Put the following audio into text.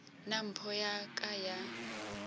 nna mpho ya ka ya